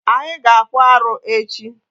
Anyi ga-akpụ arụ echi.